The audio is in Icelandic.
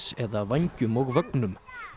eða vængjum og vögnum